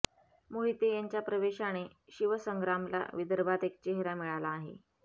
मोहिते यांच्या प्रवेशाने शिवसंग्रामला विदर्भात एक चेहरा मिळाला आहे